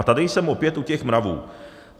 A tady jsem opět u těch mravů.